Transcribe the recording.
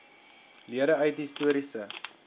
lede uit histories